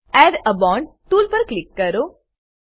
add a bond tool પર click કરો